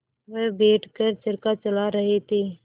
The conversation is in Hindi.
वह बैठ कर चरखा चला रहे थे